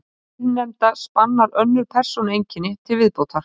Hið síðarnefnda spannar önnur persónueinkenni til viðbótar.